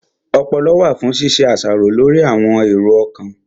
Ọpọlọ wà fún ṣíṣe àṣàrò lórí àwọn èrò ọkàn